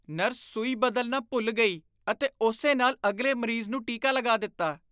Nurse ਸੂਈ ਬਦਲਣਾ ਭੁੱਲ ਗਈ ਅਤੇ ਉਸੇ ਨਾਲ ਅਗਲੇ ਮਰੀਜ਼ ਨੂੰ ਟੀਕਾ ਲਗਾ ਦਿੱਤਾ।